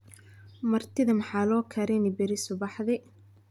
martidha maxaa loo karini beri subaxdii